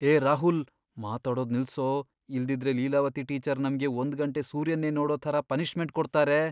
ಏ ರಾಹುಲ್! ಮಾತಾಡೋದ್ ನಿಲ್ಸೋ, ಇಲ್ದಿದ್ರೆ ಲೀಲಾವತಿ ಟೀಚರ್ ನಮ್ಗೆ ಒಂದ್ ಗಂಟೆ ಸೂರ್ಯನ್ನೇ ನೋಡೋ ಥರ ಪನಿಷ್ಮೆಂಟ್ ಕೊಡ್ತಾರೆ.